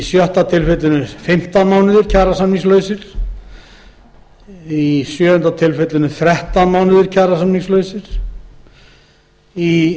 sjötta tilfelli fimmtán mánuðir í sjöunda tilfelli eru liðnir þrettán mánuðir án kjarasamnings og í